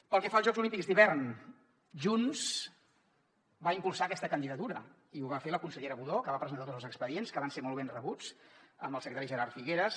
pel que fa als jocs olímpics d’hivern junts va impulsar aquesta candidatura i ho va fer la consellera budó que va presentar tots els expedients que van ser molt ben rebuts amb el secretari gerard figueras